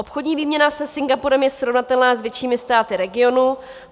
Obchodní výměna se Singapurem je srovnatelná s většími státy regionu.